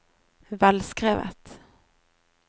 velskrevet